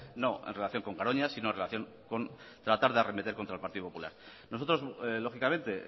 no en relación con garoña sino en relación con tratar de arremeter contra el partido popular nosotros lógicamente